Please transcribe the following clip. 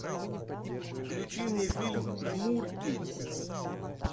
включи мне фильм жмурки